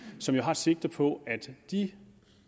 som jo har sigte på at de